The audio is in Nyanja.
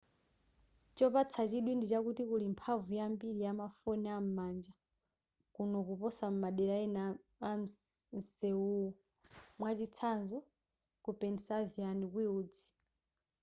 chopatsa chidwi ndichakuti kuli mphamvu yambili yamafoni am'manja kuno kuposa madera ena a msewuwu mwachitsanzo ku pennsylvania wilds